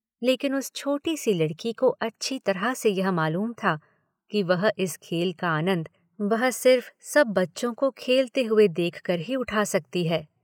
लेकिन उस छोटी सी लड़की को अच्छी तरह से यह मालूम था कि वह इस खेल का आनन्द, वह सिर्फ़ सब बच्चों को खेलते हुए देखकर ही उठा सकती है।